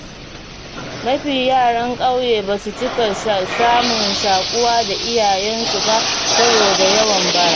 Mafi yaran ƙauye basu cika samun shaƙuwa da iyayensu ba saboda yawon bara.